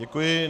Děkuji.